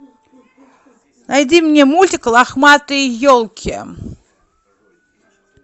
найди мне мультик лохматые елки